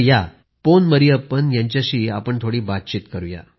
प्रधानमंत्रीः पोन मरियप्पन जी वणक्कम नल्ला इर किंगडा